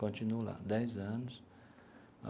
Continuo lá dez anos.